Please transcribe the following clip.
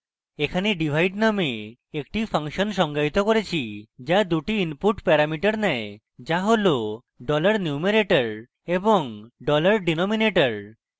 এখানে divide নামে একটি ফাংশন সংজ্ঞায়িত করেছি যা দুটি input প্যারামিটার নেয়